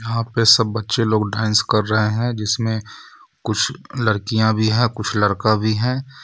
यहा पे सब बच्चे लोग डांस कर रहे हैं जिसमें कुछ लड़कियां भी है कुछ लड़का भी है.